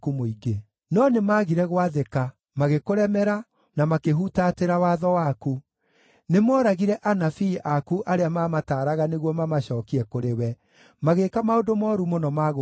“No nĩmagire gwathĩka, magĩkũremera, na makĩhutatĩra watho waku. Nĩmooragire anabii aku arĩa maamataaraga nĩguo mamacookie kũrĩ we; magĩĩka maũndũ mooru mũno ma gũkũruma.